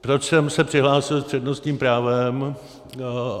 Proč jsem se přihlásil s přednostním právem.